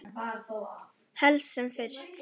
Helst sem fyrst.